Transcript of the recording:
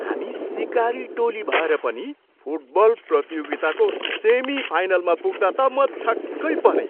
हामी सिकारु टोली भएर पनि फुटबल प्रतियोगिताको सेमिफाइनलमा पुग्दा त म छक्कै परेँ।